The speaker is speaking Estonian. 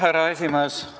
Härra esimees!